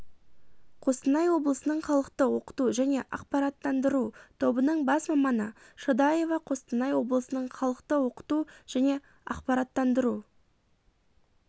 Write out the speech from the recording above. қостанай облысының халықты оқыту және ақпараттандыру тобының бас маманы шадаева қостанай облысының халықты оқыту және ақпараттандыру